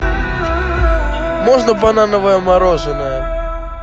можно банановое мороженое